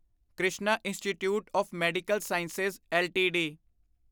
Krishna institute of medical science LTD